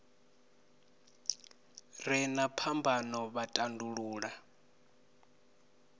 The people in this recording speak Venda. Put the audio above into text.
re na phambano vha tandulula